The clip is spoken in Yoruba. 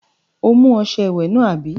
O mú ọṣẹ ìwẹ̀ náà, àbí?